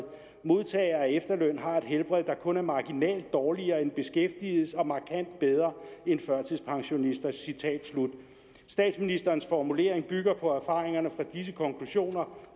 modtagere af efterløn har et helbred der kun er marginalt dårligere end beskæftigedes og markant bedre end førtidspensionisters statsministerens formulering bygger på erfaringerne fra disse konklusioner